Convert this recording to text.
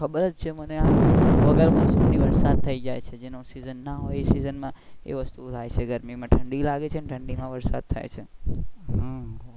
ખબર જ છે મને વરસાદ થઇ જાય છે જે માં ના હોય એ સિઝન માં એ વસ્તુ થાય છે ગરમી માં ઠંડી લાગે છે અને ઠંડી માં વરસાદ થાય છે.